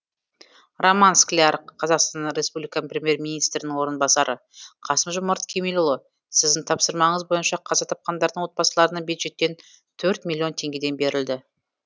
роман скляр қазақстан республикасы премьер министрінің орынбасары қасым жомарт кемелұлы сіздің тапсырмаңыз бойынша қаза тапқандардың отбасыларына бюджеттен төрт миллион теңгеден берілді